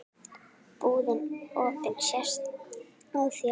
Búðin opin sést á þér.